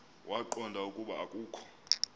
waqonda ukuba akokho